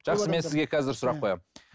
жақсы мен сізге қазір сұрақ қоямын